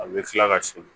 A bɛ kila ka segin